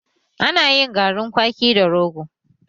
Ana yin garin kwaki da rogo